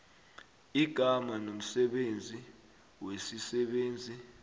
igama nomsebenzi wesisebenzi